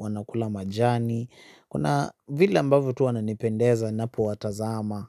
wanakula majani, kuna vile ambavyo tu wananipendeza ninapo watazama.